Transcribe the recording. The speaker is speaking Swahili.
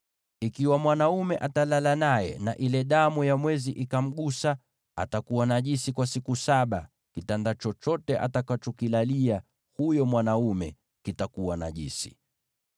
“ ‘Ikiwa mwanaume atalala naye na ile damu ya mwezi ikamgusa, atakuwa najisi kwa siku saba; kitanda chochote atakachokilalia huyo mwanaume kitakuwa najisi.